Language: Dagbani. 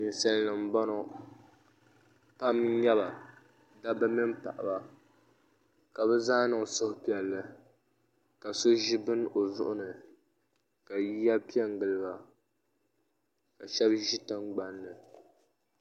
ninsalinima m-bɔŋɔ pam n-nyɛ ba dabba mini paɣiba ka bɛ zaa niŋ suhupiɛlli ka so ʒi bini o zuɣu ni ka yiya pe n-gili ba ka shɛba ʒi tiŋgbani ni